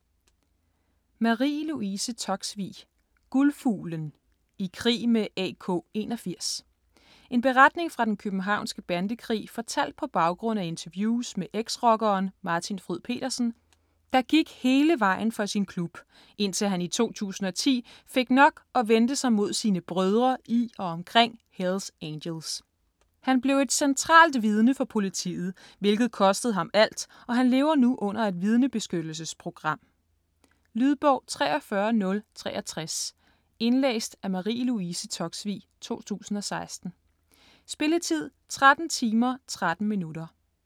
Toksvig, Marie Louise: Guldfuglen: i krig med AK81 En beretning fra den københavnske bandekrig fortalt på baggrund af interviews med ex-rockeren Martin Fryd Petersen, der gik hele vejen for sin klub, indtil han i 2010 fik nok og vendte sig mod sine "brødre" i og omkring Hells Angels. Han blev et centralt vidne for politiet, hvilket kostede ham alt, og han lever nu under et vidnebeskyttelsesprogram. Lydbog 43063 Indlæst af Marie Louise Toksvig, 2016. Spilletid: 13 timer, 13 minutter.